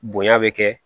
Bonya bɛ kɛ